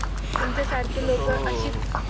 तुमच्या सारखे लोक अशीच